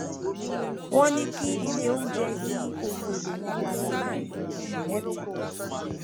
wọn ní kí ilé oúnjẹ yí ohun èlò wọn padà láàárín oṣù mẹta